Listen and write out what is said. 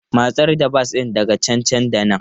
Matsar da bas ɗin daga can nan da nan!